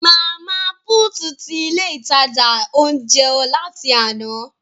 Mama put tí ilé ìtajà ounjẹ láti àna